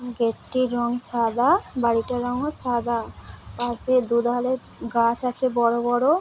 Gate - টির রং সাদা বাড়িটার রংও সাদা। পশে দুধারে গাছ আছে বড়ো বড়ো ও --